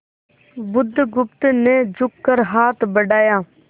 बुधगुप्त ने झुककर हाथ बढ़ाया